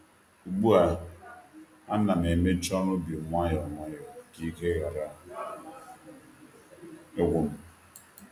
Ugbu a, a na'm emecha ọrụ ubi nwayọ nwayọ ka ike ghara ịgwu m